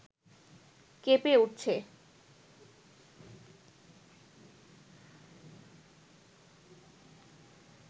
কেঁপে উঠছে